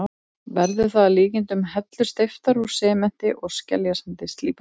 Verður það að líkindum hellur steyptar úr sementi og skeljasandi, slípaðar.